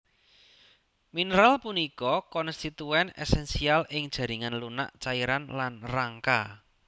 Mineral punika konstituen esensial ing jaringan lunak cairan lan rangka